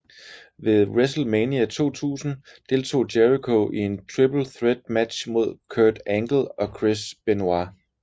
Ved WrestleMania 2000 deltog Jericho i en Triple Threat match mod Kurt Angle og Chris Benoit